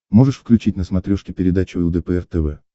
можешь включить на смотрешке передачу лдпр тв